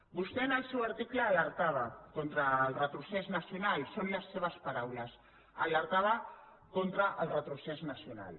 vostè en el seu article alertava contra el retrocés nacional són les seves paraules alertava contra el retrocés nacional